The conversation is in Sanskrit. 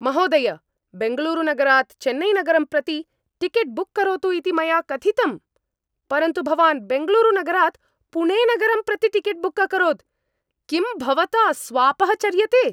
महोदय, बेङ्गलूरुनगरात् चेन्नैनगरं प्रति टिकेट् बुक् करोतु इति मया कथितम्, परन्तु भवान् बेङ्गलूरुनगरात् पुणेनगरं प्रति टिकेट् बुक् अकरोत्। किं भवता स्वापः चर्यते?